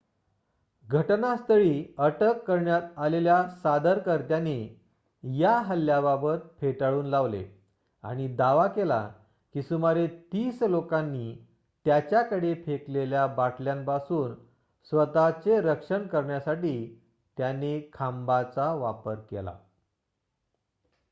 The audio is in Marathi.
घटनास्थळी अटक करण्यात आलेल्या सादरकर्त्याने या हल्ल्याबाबत फेटाळून लावले आणि दावा केला की सुमारे तीस लोकांनी त्याच्याकडे फेकलेल्या बाटल्यांपासून स्वतःचे रक्षण करण्यासाठी त्याने खांबाचा वापर केला